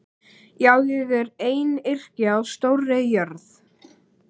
Já, ég er einyrki á stórri jörð.